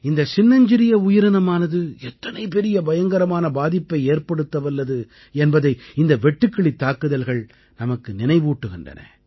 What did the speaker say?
இந்தச் சின்னஞ்சிறிய உயிரினமானது எத்தனை பயங்கரமான பாதிப்பை ஏற்படுத்தவல்லது என்பதை இந்த வெட்டுக்கிளித் தாக்குதல்கள் நமக்கு நினைவூட்டுகின்றன